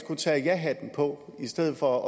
tage jahatten på i stedet for